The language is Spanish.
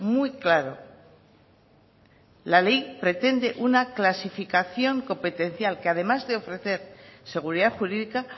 muy claro la ley pretende una clasificación competencial que además de ofrecer seguridad jurídica